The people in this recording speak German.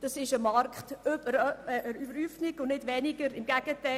Das ist eine Marktüberhäufung und nicht eine Reduktion.